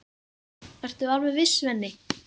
Ertu alveg viss, Svenni?